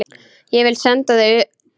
Ég vil senda þá utan!